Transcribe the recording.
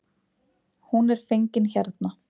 Hún er fengin hérna.